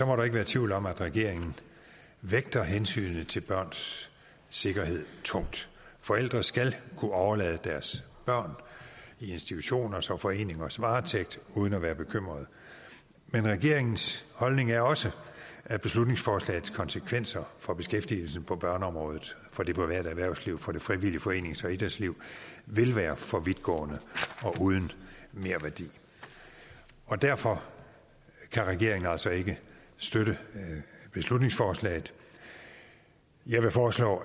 må der ikke være tvivl om at regeringen vægter hensynet til børns sikkerhed tungt forældre skal kunne overlade deres børn i institutioners og foreningers varetægt uden at være bekymrede men regeringens holdning er også at beslutningsforslagets konsekvenser for beskæftigelsen på børneområdet for det private erhvervsliv og for det frivillige forenings og idrætsliv vil være for vidtgående og uden merværdi derfor kan regeringen altså ikke støtte beslutningsforslaget jeg vil foreslå